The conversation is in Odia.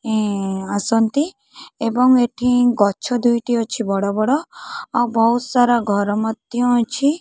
ଇଁ ଆସନ୍ତି ଏବଂ ଏଠି ଗଛ ଦୁଇଟି ଅଛି ବଡ଼ ବଡ଼ ଆଉ ବହୁତ ସାରା ଘର ମଧ୍ୟ ଅଛି।